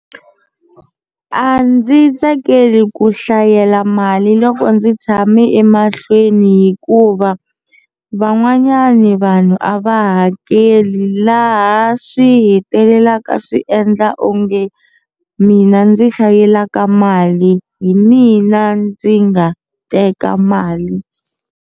A ndzi tsakeli ku hlayela mali loko ndzi tshame emahlweni hikuva van'wanyani vanhu a va hakeli laha swi hetelelaka swi endla onge mina ndzi hlayiselaka mali hi mina ndzi nga teka mali.